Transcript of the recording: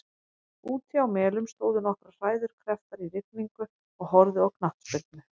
Úti á Melum stóðu nokkrar hræður hnepptar í rigningu og horfðu á knattspyrnu.